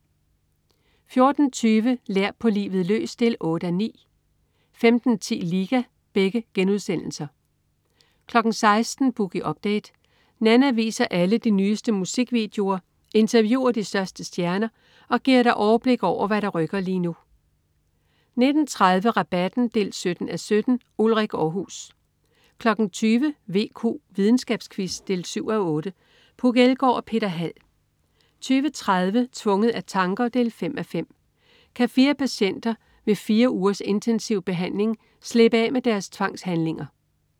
14.20 Lær på livet løs 8:9* 15.10 Liga* 16.00 Boogie Update. Nanna viser alle de nyeste musikvideoer, interviewer de største stjerner og giver dig overblik over, hvad der rykker lige nu 19.30 Rabatten 17:17. Ulrik Aarhus 20.00 VQ. Videnskabsquiz 7:8. Puk Elgård og Peter Hald 20.30 Tvunget af tanker 5:5. Kan fire patienter ved fire ugers intensiv behandling slippe af med deres tvangshandlinger?